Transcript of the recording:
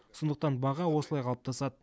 сондықтан баға осылай қалыптасады